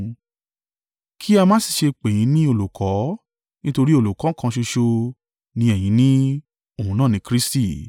Kí a má sì ṣe pè yín ní Olùkọ́ nítorí Olùkọ́ kan ṣoṣo ni ẹ̀yin ní, òun náà ni Kristi.